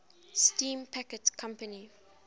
steam packet company